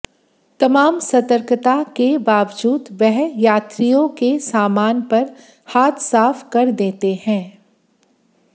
तमाम सतर्कता के बावजूद वह यात्रियों के सामन पर हाथ साफ़ कर देते हैं